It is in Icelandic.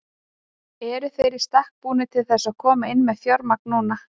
Eru þeir í stakk búnir til þess að koma inn með fjármagn núna?